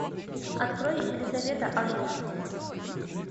открой елизавета аш д